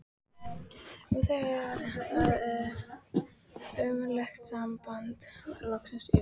Og nú þegar það ömurlega samband var loksins yfir